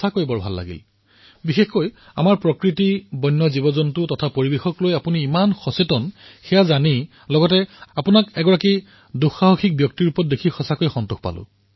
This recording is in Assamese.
প্ৰথমে এইটো শুনি ভাল লাগিল যে আপোনাৰ আমাৰ প্ৰকৃতি বন্যজন্তু আৰু পৰিবেশকলৈ কিমান চিন্তা কিমান যত্ন আৰু আপোনাক নতুন ৰূপত এজন অভিযাত্ৰীৰ ৰূপত দেখি ভাল লাগিল